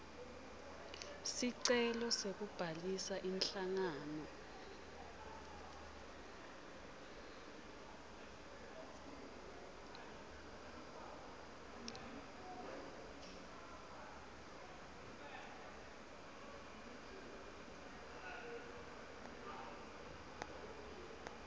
sicelo sekubhalisa inhlangano